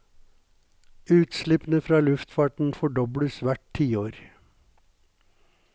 Utslippene fra luftfarten fordobles hvert tiår.